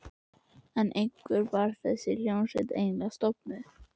En hvenær var þessi hljómsveit eiginlega stofnuð?